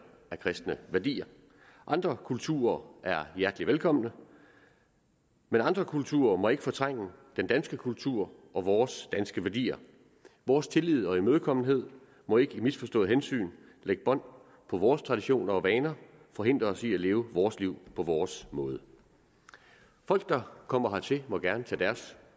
af kristne værdier andre kulturer er hjertelig velkomne men andre kulturer må ikke fortrænge den danske kultur og vores danske værdier vores tillid og imødekommenhed må ikke i misforstået hensyn lægge bånd på vores traditioner og vaner og forhindre os i at leve vores liv på vores måde folk der kommer hertil må gerne tage deres